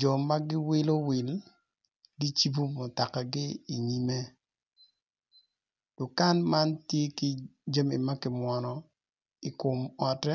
joma giwilo wil gicibo mutoka gi i nyime, dukan man tye ki jami makimwono i kom ote.